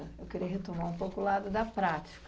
Eu queria retomar um pouco o lado da prática.